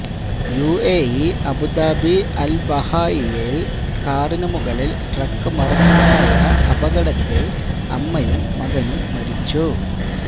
UAE Abu Dhabi അല്ബാഹിയയില് കാറിന് മുകളില് ട്രക്ക് മറിഞ്ഞുണ്ടായ അപകടത്തില് അമ്മയും മകനും മരിച്ചു